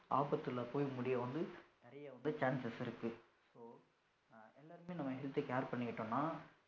ஆபத்துல போய் முடிய வந்து நிறைய வந்து chances இருக்கு so எல்லாருமே நம்ம health care பண்ணிக்கிட்டோம்னா